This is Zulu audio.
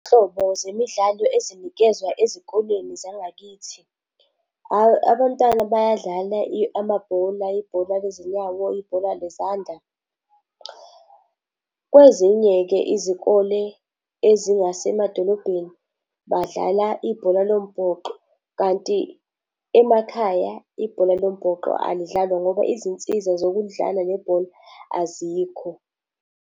Iy'nhlobo zemidlalo ezinikezwa ezikoleni zangakithi, abantwana bayadlala amabhola, ibhola lezinyawo, ibhola lezandla. Kwezinye-ke izikole ezingasemadolobheni, badlala ibhola lombhoxo kanti emakhaya ibhola lombhoxo alidlalwa ngoba izinsiza zokulidlala leli bhola azikho.